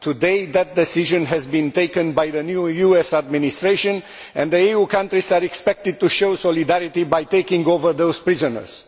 Today that decision has been taken by the new US Administration, and EU countries are expected to show solidarity by taking over those prisoners.